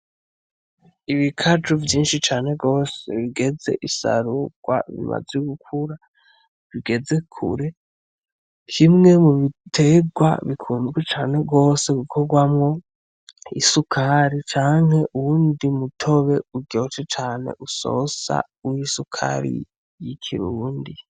Ibikaju vyinshi cane gose bigeze isarugwa, bimaze gukura bigeze kure kimwe mubitegwa bikunzwe cane gose gukogwamwo isukari canke uwundi mutobe uryoshe cane usosa w'isukari y'ikirundi.